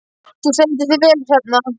Þú stendur þig vel, Hrefna!